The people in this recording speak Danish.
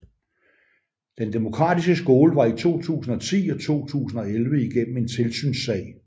Den Demokratiske Skole var i 2010 og 2011 igennem en tilsynssag